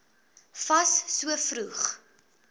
fas so vroeg